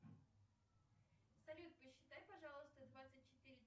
салют посчитай пожалуйста двадцать четыре